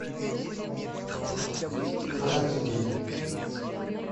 братья гримм